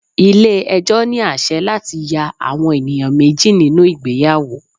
Ilé ẹjọ́ ní àsẹ̀ láti ya àwọn ènìyàn méjì nínú ìgbéyàwó.